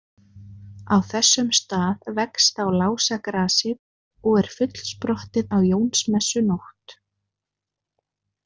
Á þessum stað vex þá lásagrasið og er fullsprottið á Jónsmessunótt.